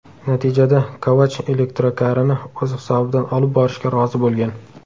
Natijada Kovach elektrokarini o‘z hisobidan olib borishga rozi bo‘lgan.